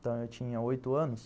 Então, eu tinha oito anos.